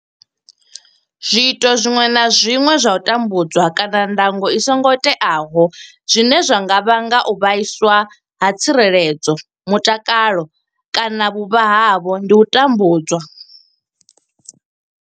Zwiito zwiṅwe na zwiṅwe zwa u tambudzwa kana ndango i songo teaho zwine zwa nga vhanga u vhaiswa ha tsireledzo mutakalo kana vhuvha havho ndi u tambudzwa.